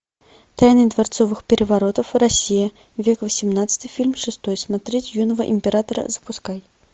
тайны дворцовых переворотов россия век восемнадцатый фильм шестой смотреть юного императора запускай